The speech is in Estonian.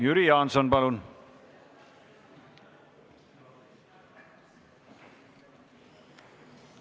Jüri Jaanson, palun!